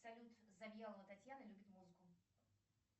салют завьялова татьяна любит музыку